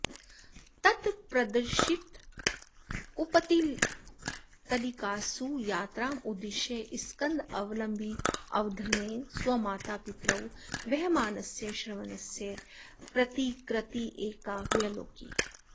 तत्प्रदर्शितपुत्तलिकासु यात्रामुद्दिश्य स्कन्धावलम्बिवीवधेन स्वमातापितरौ वहमानस्य श्रवणस्य प्रतिकृतिरेका व्यलोकि